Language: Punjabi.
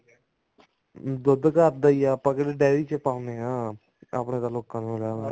ਦੁੱਧ ਘਰ ਦਾ ਹੀ ਏ ਆਪਾਂ ਕਿਹੜਾ ਡਾਇਰੀ ਚ ਪਾਉਣੇ ਹਾਂ ਆਪਣਾ ਤਾਂ ਲੋਕਾਂ ਨੂੰ ਲਾਇਆ ਹੋਇਆ